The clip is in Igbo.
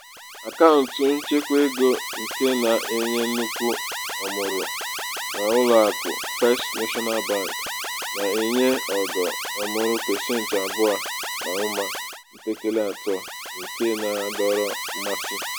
akaụntụ nchekwaego um nke na-enye nnukwu ọmụrụ n'ụlọakụ first national bank na-enye ogo ọmụrụ pasentị abụọ na ụma mpekele atọ nke na-adọrọ mmasị.